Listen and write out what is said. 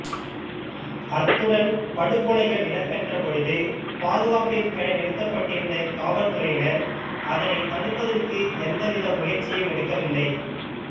அத்துடன் படுகொலைகள் இடம்பெற்ற பொழுது பாதுகாப்பிற்கென நிறுத்தப்பட்டிருந்த காவற்துறையினர் அதனைத் தடுப்பதற்கு எந்த வித முயற்சியும் எடுக்கவில்லை